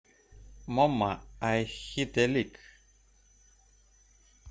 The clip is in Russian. момма ай хит э лик